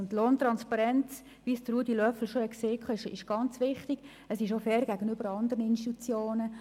Wie Grossrat Löffel bereits gesagt hat, ist Lohntransparenz sehr wichtig und auch fair gegenüber den anderen Institutionen.